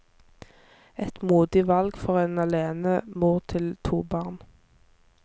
Et modig valg for en alenemor til to barn.